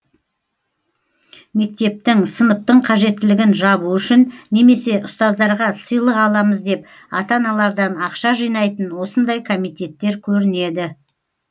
мектептің сыныптың қажеттілігін жабу үшін немесе ұстаздарға сыйлық аламыз деп ата аналардан ақша жинайтын осындай комитеттер көрінеді